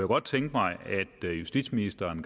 godt tænke mig at justitsministeren